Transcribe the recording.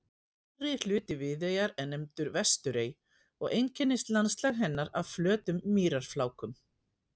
Nyrðri hluti Viðeyjar er nefndur Vesturey og einkennist landslag hennar af flötum mýrarflákum.